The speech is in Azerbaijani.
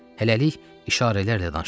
Hələlik işarələrlə danışacağıq.